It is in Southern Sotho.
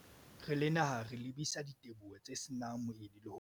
Re le naha, re lebisa diteboho tse se nang moedi ho